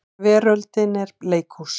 Veröldin er leikhús.